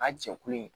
A jɛkulu in